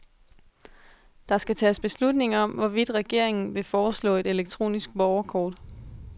Der skal tages beslutning om, hvorvidt regeringen vil foreslå et elektronisk borgerkort.